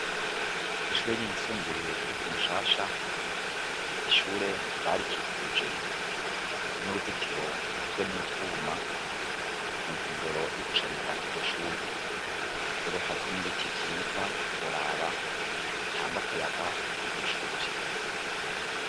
Ishure ryisumbuye ryo kumushasha ,ishure barikikuje n'uruzitiro rugizwe n'utwuma ,muntumbero yo gushariza iryo shure, rero hariho n'ibiti vyiza utoraba ,bitanga akayaga kwiryo shure.